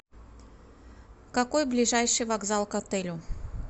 какой ближайший вокзал к отелю